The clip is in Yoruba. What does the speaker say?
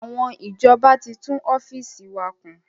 Àwọn ìjọba tí tún ọ́fíìsì wa kùn